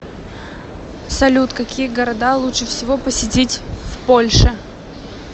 салют какие города лучше всего посетить в польше